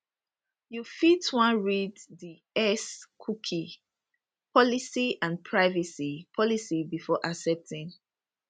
you fit wan read di xcookie policyandprivacy policybefore accepting